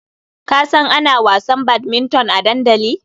Ka san ana wasan badminton a dandali?